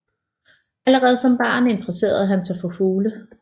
Allerede som barn interesserede han sig for fugle